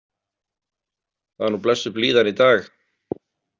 Það er nú blessuð blíðan í dag.